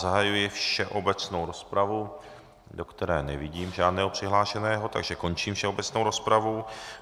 Zahajuji všeobecnou rozpravu, do které nevidím žádného přihlášeného, takže končím všeobecnou rozpravu.